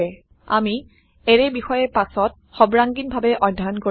আামি এৰে বিষয়ে পাছত সৰ্বাঙ্গীন ভাবে অধ্যয়ন কৰিম